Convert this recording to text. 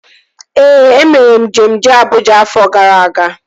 Ee, e mere njem jee Abụja afọ gara aga